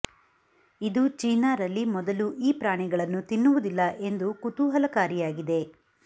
ಇದು ಚೀನಾ ರಲ್ಲಿ ಮೊದಲು ಈ ಪ್ರಾಣಿಗಳು ತಿನ್ನುವುದಿಲ್ಲ ಎಂದು ಕುತೂಹಲಕಾರಿಯಾಗಿದೆ